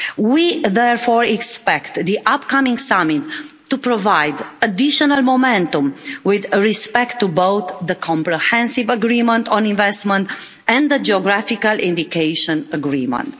We therefore expect the upcoming summit to provide additional momentum with respect to both the comprehensive agreement on investment and the geographical indication agreement.